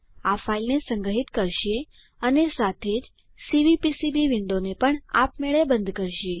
આ ફાઈલને સંગ્રહિત કરશે અને સાથે જ સીવીપીસીબી વિન્ડોને પણ આપમેળે બંધ કરશે